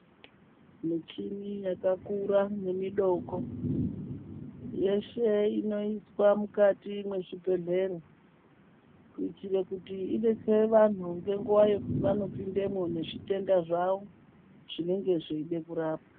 Muchini yakakura nemudoko yes he inoiswa mukati mezvibhehleya kuitira kuti ibatsire vantu nenguva yavanopindamo nezvitenda zvavo zvinenge zveida kurapwa.